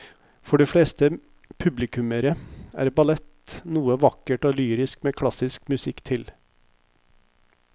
For de fleste publikummere er ballett noe vakkert og lyrisk med klassisk musikk til.